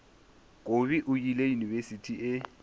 kobi o ile yunibesithing e